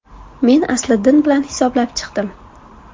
Men Asliddin bilan hisoblab chiqdim.